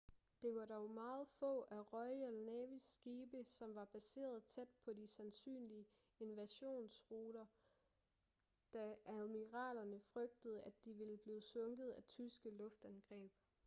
det var dog meget få af royal navys skibe som var baseret tæt på de sandsynlige invasionruter da admiralerne frygtede at de ville blive sunket af tyske luftangreb